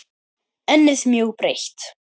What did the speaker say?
Ennið mjög breitt.